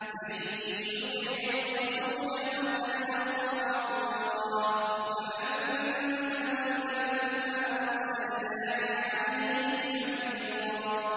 مَّن يُطِعِ الرَّسُولَ فَقَدْ أَطَاعَ اللَّهَ ۖ وَمَن تَوَلَّىٰ فَمَا أَرْسَلْنَاكَ عَلَيْهِمْ حَفِيظًا